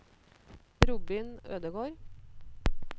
Robin Ødegård